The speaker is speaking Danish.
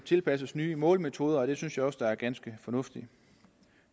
tilpasses nye målemetoder og det synes jeg også er ganske fornuftigt